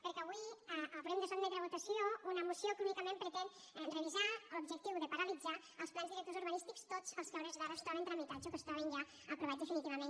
perquè avui haurem de sotmetre a votació una moció que únicament pretén revisar amb l’objectiu de paralitzar los els plans directors urbanístics tots els que a hores d’ara es troben tramitats o que es troben ja aprovats definitivament